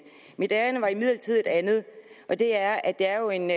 mit ærinde er imidlertid et andet og det er at det er jo en